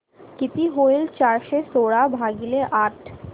किती होईल चारशे सोळा भागीले आठ